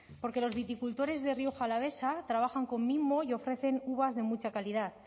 porque los viticultores de rioja alavesa trabajan con mimo y ofrecen uvas de mucha calidad